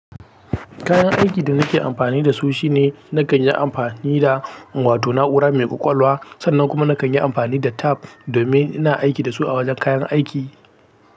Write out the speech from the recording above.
Kayan aikin da nake amfani da su shine na kan yi amfani da wato na'ura mai ƙwaƙwalwa, sannan kuma na kan yi amfani da tab domin ina aiki da su a wajen kayan aiki.